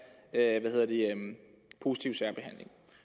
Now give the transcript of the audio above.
positiv særbehandling